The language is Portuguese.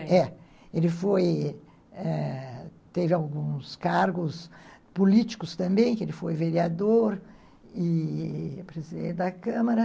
Foi, é. Ele foi... Teve alguns cargos políticos também, que ele foi vereador e e presidente da Câmara.